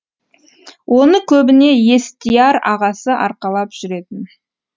оны көбіне естияр ағасы арқалап жүретін